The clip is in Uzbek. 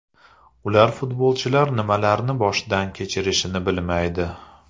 Ular futbolchilar nimalarni boshdan kechirishini bilmaydi.